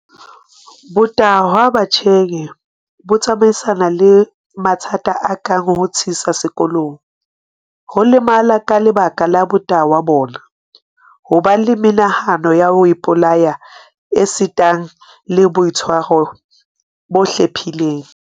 Botahwa batjheng bo tsamaisana le mathata a kang ho thisa sekolong, ho lemala ka lebaka la botahwa bona, ho ba le menahano ya ho ipolaya esitana le boitshwaro bo hlephileng.